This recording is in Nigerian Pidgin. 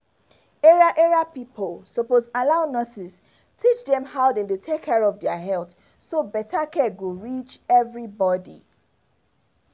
area area pipo suppose allow nurses teach dem how dem dey take care of their health so better care go reach everybody